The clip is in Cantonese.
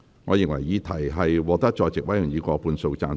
我認為議題獲得在席委員以過半數贊成。